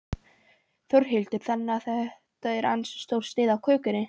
Þórhildur: Þannig að þetta er ansi stór sneið af kökunni?